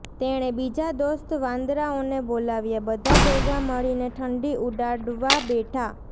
તેણે બીજા દોસ્ત વાંદરાઓને બોલાવ્યા બધાં ભેગાં મળીને ઠંડી ઉડાડવા બેઠા